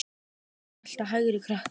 Ertu í þínu besta formi?